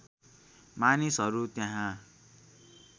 मानिसहरू त्यहाँ